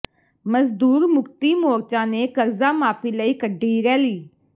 ਮਜ਼ਦੂਰ ਮੁਕਤੀ ਮੋਰਚਾ ਨੇ ਕਰਜ਼ਾ ਮਾਫ਼ੀ ਲਈ ਕੱਢੀ ਰੈਲੀ